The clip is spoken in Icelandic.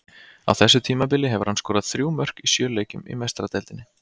Á þessu tímabili hefur hann skorað þrjú mörk í sjö leikjum í Meistaradeildinni.